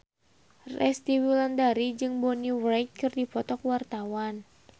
Resty Wulandari jeung Bonnie Wright keur dipoto ku wartawan